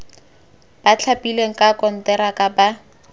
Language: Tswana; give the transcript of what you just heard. ba thapilweng ka konteraka ba